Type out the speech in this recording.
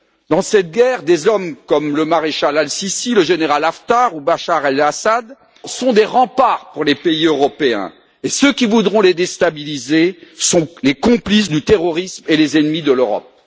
Dans cette guerre, des hommes comme le maréchal Al Sissi, le général Haftar ou Bachar El Assad sont des remparts pour les pays européens, et ceux qui voudront les déstabiliser sont les complices du terrorisme et les ennemis de l'Europe.